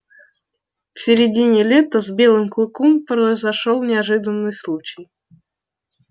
в середине лета с белым клыком произошёл неожиданный случай